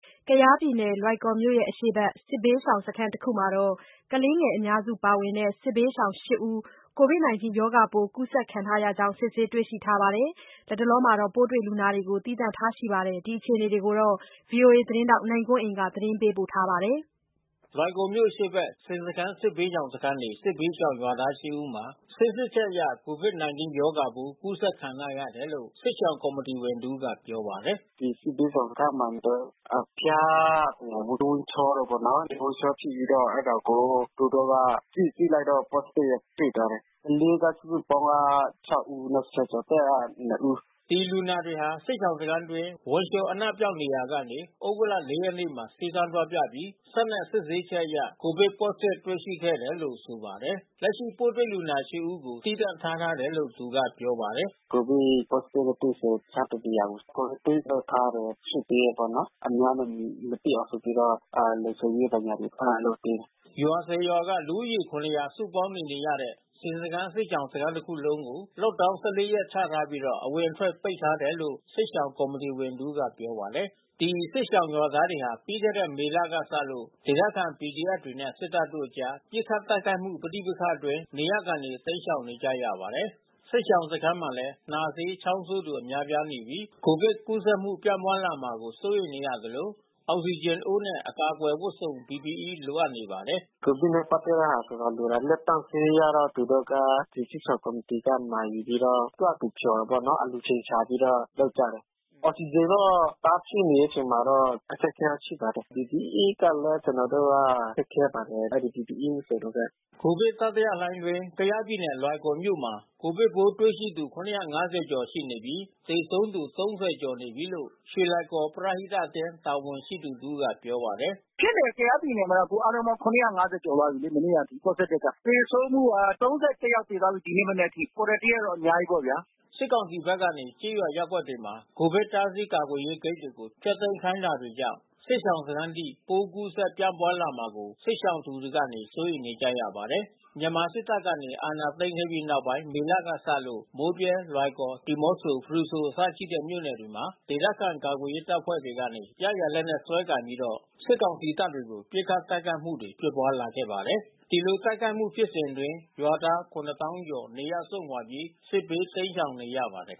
ကယားပြည်နယ်လွိုင်ကော်မြို့အရှေ့ဖက် စစ်ဘေးရှောင်စခန်းတခုမှာ ကလေးအများစုပါဝင်တဲ့ စစ်ဘေးရှောင်(၈)ဦး ကိုဗစ်-၁၉ ရောဂါပိုးကူးစက်ခံထားရကြောင်း စစ်ဆေးတွေ့ရှိထားပါတယ်။ ပိုးတွေ့လူနာကို သီးသန့်ထားရှိထားတယ်လို့ဆိုပါတယ်။ ဒီအခြေအနေတွေကို ဗွီအိုအေ သတင်းထောက် နိုင်ကွန်းအိန်ကနေပြောပြပေးမှာပါ။ လွိုင်ကော်မြို့အရှေ့ဖက် ဆင်စခန်းစစ်ဘေးရှောင်စခန်းနေ စစ်ဘေးရှောင်ရွာသား(၈)ဦးမှာ စစ်ဆေးချက်အရကိုဗစ်-၁၉ ရောဂါပိုးကူးစက်ခံထားရတယ်လို့ စစ်ရှောင်ကော်မီတီဝင်တဦးကပြောပါတယ်။ “ ဒီစစ်ဘေးရှောင်စခန်းမှာ သူတို့ အဖျား ဝမ်းလျောတာပေါ့နော်။ ဝမ်းလျောဖြစ်ပြီးတော့ အဲတာကိုသူတို့က စစ်ကြည့်လိုက်တော့ Positive တွေ့သွားတယ်။ ကလေးကစုစုပေါင်းက(၆)ဦးနဲ့ဆယ်ကျော်သက်က(၂)ဦး။ ” ဒီလူနာတွေဟာ စစ်ရှောင်စခန်းအတွင်း ဝမ်းလျော အနံ့ပျောက်နေရာက သြဂုတ်လ(၄)ရက်နေ့မှာ ဆေးခန်းသွားပြပြီး စက်နဲ့ စစ်ဆေးချက်အရ ကိုဗစ် Positive တွေ့ရှိခဲ့တယ်လို့ဆိုပါတယ်။ လက်ရှိ ပိုးတွေ့ရှိတဲ့(၈)ဦးကို သီးသန့်ထားထားတယ်လို့သူကပြောပါတယ်။ “ ကိုဗစ်Positive တွေ့သူကိုတခြားတနေရာမှာ Quarantine လုပ်ထားတယ်။ ရွှေ့ပေးတယ်ပေါ့နော်။ အများနဲ့မတွေ့အောင် ဆိုပြီးတော့ လုံခြုံရေးဘာညာတွေ လုပ်ပေးတယ်။ ” ရွာ(၁၀)ရွာက လူဦးရေ(၇၀၀)စုပေါင်းနေနေရတဲ့ ဆင်စခန်းစစ်ရှောင်စခန်းတစ်ခုလုံးကို Lockdown (၁၄)ရက် ချထားပြီး အဝင်အထွက်ပိတ်ထားတယ်လို့ စစ်ရှောင်ကော်မီတီဝင်တဦးကပြောပါတယ်။ ဒီစစ်ရှောင်ရွာသားတွေဟာ ပြီးခဲ့တဲ့ မေလကစလို့ဒေသခံPDFတွေနဲ့ စစ်တပ်တို့ အကြားပစ်ခတ်တိုက်ခိုက်မှုပဋိပက္ခအတွင်း နေရပ်ကနေတိမ်းရှောင်နေကြရပါတယ်။ စစ်ရှောင်စခန်းမှာလည်း နှာစေးချောင်းဆိုးသူ များပြားနေပြီး ကိုဗစ်ကူးစက်မှုပြန့်ပွားလာမှာကို စိုးရိမ်နေသလို အောက်စီဂျင်အိုးနဲ့ အကာအကွယ်ဝတ်စုံ(PPE)၊ လိုအပ်နေပါတယ်။ “ ကိုဗစ်နဲ့ပက်သက်တဲ့ဟာဆိုတော့ လိုတာလက်သန့်ဆေးကတော့ ဒီစစ်ရှောင်ကော်မီတီကမှာယူပြီးတော့ ကိုယ့်ဟာကိုယ် ဖျော်တာပေါ့နော်။ အလှူရှင်ရှာပြီးတော့လုပ်ကြတယ်။ အောက်စီဂျင်တော့တအားဖြစ်နေတဲ့အချိန်မှာတော့အခက်ခဲရှိပါတယ်။ PPEကလဲကျွန်တော်တို့က ခက်ခဲပါတယ်။ အဲဒီPPEဝတ်စုံတွေက။ ” ကိုဗစ်တတိယလှိုင်းအတွင်း ကရင်နီပြည်နယ် လွိုင်ကော်မြို့နယ်မှာ ကိုဗစ်ပိုးတွေ့ရှိသူ ၇၅၀ကျော်ရှိနေပြီး သေဆုံးသူ ၃၀ ကျော်နေပြီးလို့ ရွှေလွိုင်ကော် ပရဟိတအသင်းတာဝန်ရှိသူတဦးကပြောပါတယ်။ “ ဖြစ်နေတယ်ကယားပြည်နယ်မှာအခု(၇၅၀)ကျော်သွားပြီးလေ။ မနေ့ကအထိPositiveက။ သေဆုံးမှုက(၃၁)ယောက် အထိသေသွားပြီး ဒီနေ့မနက်အထိ။ Quarantineကတော့အများကြီးပေါ့ဗျာ။” စစ်ကောင်စီဖက်ကနေ ကျေးရွာ၊ ရပ်ကွက်တွေမှာ ကိုဗစ်တားဆီး ကာကွယ်ရေးဂိတ်တွေကို ဖျက်သိမ်းခိုင်းတာတွေကြောင့် စစ်ရှောင်စခန်းထိ ပိုမိုကူးစက်ပြန့်နှံ့မှာကို စစ်ဘေးရှောင်သူတွေကနေစိုးရိမ်နေပါတယ်။ မြန်မာစစ်တပ်က အာဏာသိမ်းခဲ့ပြီးနောက်ပိုင်း မေလကစလို့ မိုးဗြဲ၊ လွိုင်ကော်၊ ဒီမော့ဆို ဖရူဆိုအစရှိတဲ့မြို့ နယ်တွေမှာ ဒေသ ခံကာကွယ်ရေးတပ်ဖွဲ့ တွေကနေ ရရာလက်နက်စွဲကိုင်ပြီးတော့ စစ်ကောင်စီတပ်ကို ပစ်ခတ် တိုက်ခိုက်မှု တွေဖြစ်ပွါးလာ ပါတယ်။ ဒီလိုတိုက်ခိုက်မှုဖြစ်စဉ်အတွင်း ရွာသား(၇)သောင်းကျော် နေရပ်စွန့်ခွါပြီး စစ်ဘေးတိမ်းရှောင်နေရပါတယ်။